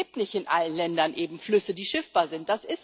Es gibt nicht in allen Ländern Flüsse, die schiffbar sind.